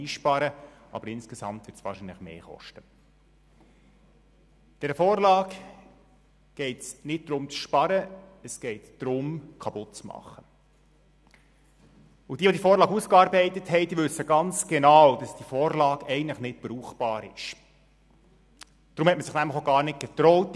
Seit dem 21. 09. 2015 entscheidet die Sozialdirektorenkonferenz, bei der auch unser Regierungsrat wie auch jeder andere Kanton Mitglied ist, über die SKOS-Richtlinien.